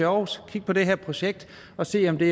aarhus kig på det her projekt og se om det